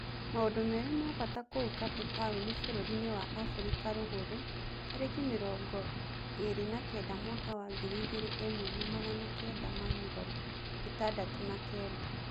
Maũndũ merĩ ma-bata kũu Kape Taũni bũrũriinĩ wa-Afirika Rũgũrũ tarĩki mĩrongoĩrĩ na-kenda mwaka wa ngiri ĩmwe na magana kenda ma-mirongo ĩtandatũ na-kenda.